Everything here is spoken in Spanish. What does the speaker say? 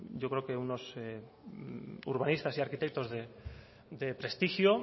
yo creo que unos urbanistas y arquitectos de prestigio